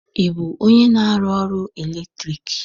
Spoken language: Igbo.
Ị bụ onye na-arụ ọrụ eletriki?